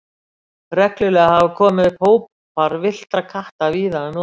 Reglulega hafa komið upp hópar villtra katta víða um land.